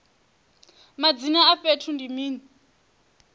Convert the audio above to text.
madzina a fhethu ndi mini